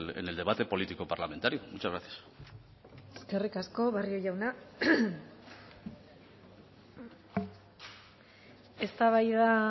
en el debate político parlamentario muchas gracias eskerrik asko barrio jauna eztabaida